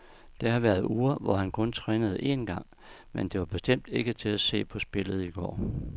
Der har været uger, hvor han kun trænede en gang, men det var bestemt ikke til at se på spillet i går.